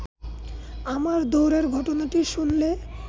আমার দৌড়ের ঘটনাটি শুনলে